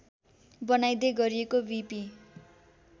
बनाइदै गरिएको वि पि